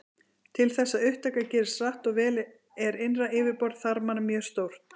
Til þess að upptaka gerist hratt og vel er innra yfirborð þarmanna mjög stórt.